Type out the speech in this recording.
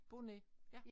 Bonnet ja